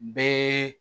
Bɛɛ